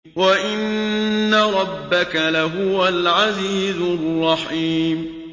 وَإِنَّ رَبَّكَ لَهُوَ الْعَزِيزُ الرَّحِيمُ